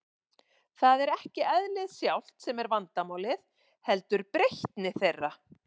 Það er ekki eðlið sjálft sem er vandamálið, heldur breytni þeirra.